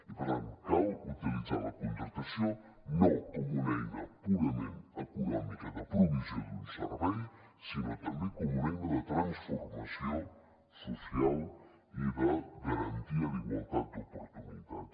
i per tant cal utilitzar la contractació no com una eina purament econòmica de provisió d’un servei sinó també com una eina de transformació social i de garantia d’igualtat d’oportunitats